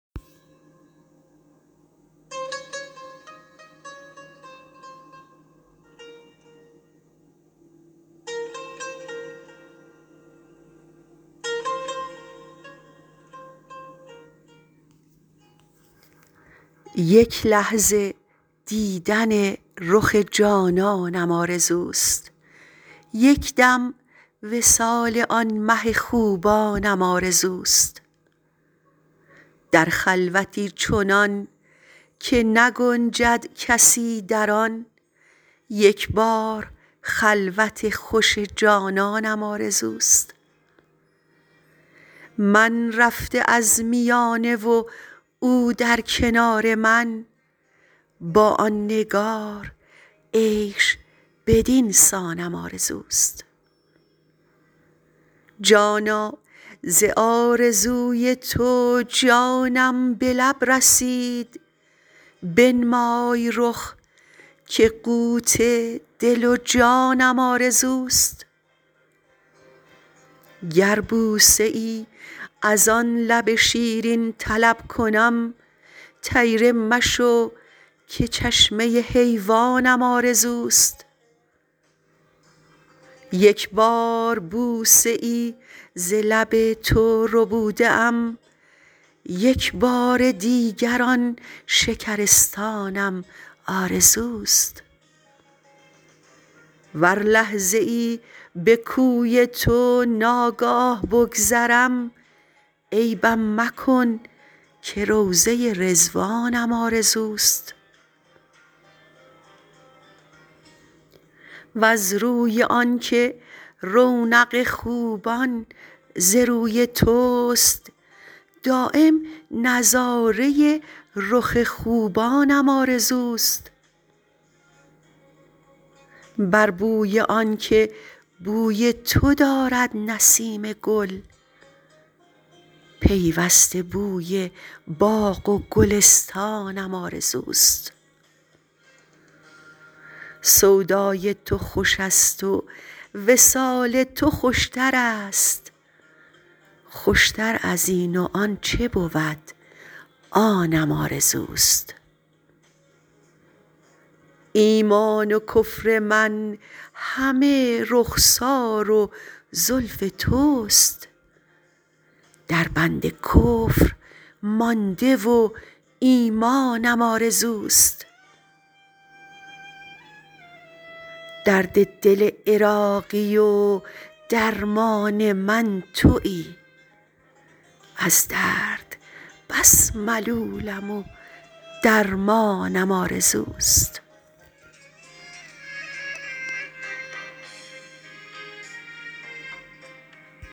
یک لحظه دیدن رخ جانانم آرزوست یکدم وصال آن مه خوبانم آرزوست در خلوتی چنان که نگنجد کسی در آن یکبار خلوت خوش جانانم آرزوست من رفته از میانه و او در کنار من با آن نگار عیش بدینسانم آرزوست جانا ز آرزوی تو جانم به لب رسید بنمای رخ که قوت دل و جانم آرزوست گر بوسه ای از آن لب شیرین طلب کنم طیره مشو که چشمه حیوانم آرزوست یک بار بوسه ای ز لب تو ربوده ام یک بار دیگر آن شکرستانم آرزوست ور لحظه ای به کوی تو ناگاه بگذرم عیبم مکن که روضه رضوانم آرزوست وز روی آن که رونق خوبان ز روی توست دایم نظاره رخ خوبانم آرزوست بر بوی آن که بوی تو دارد نسیم گل پیوسته بوی باغ و گلستانم آرزوست سودای تو خوش است و وصال تو خوشتر است خوشتر ازین و آن چه بود آنم آرزوست ایمان و کفر من همه رخسار و زلف توست در بند کفر مانده و ایمانم آرزوست درد دل عراقی و درمان من تویی از درد بس ملولم و درمانم آرزوست